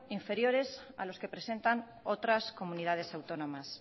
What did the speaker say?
inferiores a los que presentan otras comunidades autónomas